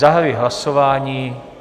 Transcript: Zahajuji hlasování.